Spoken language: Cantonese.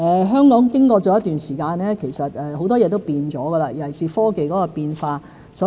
香港經過了一段時間，其實很多事也改變了，尤其是科技變化。